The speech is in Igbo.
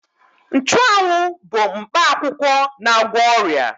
Nchụawụ bu mkpa akwụkwọ na-agwọ ọrịa.